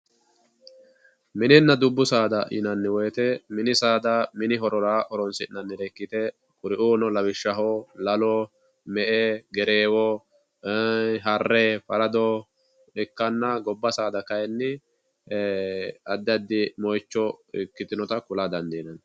Mininna dubbu saada yinanni woyte mini saada mini horora horonsi'nannire ikkite kuriuuno lawishshaho Lalo ,Me"e Gerreewo Harre, Farado ikkanna gobba saada kayinni addi addi moicho ikkitinotta ku'la dandiinanni.